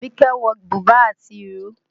Àbíkẹ́ wọ̀ bùbá àti ìró